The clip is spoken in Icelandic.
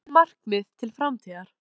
Hver eru þín markmið til framtíðar?